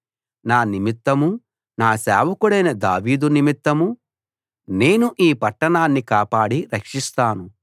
నా నిమిత్తమూ నా సేవకుడైన దావీదు నిమిత్తమూ నేను ఈ పట్టణాన్ని కాపాడి రక్షిస్తాను